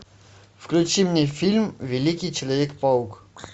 включи мне фильм великий человек паук